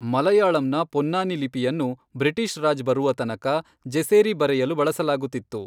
ಮಲಯಾಳಂನ ಪೊನ್ನಾನಿ ಲಿಪಿಯನ್ನು ಬ್ರಿಟೀಷ್ ರಾಜ್ ಬರುವ ತನಕ ಜೆಸೇರಿ ಬರೆಯಲು ಬಳಸಲಾಗುತ್ತಿತ್ತು.